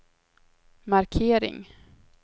markering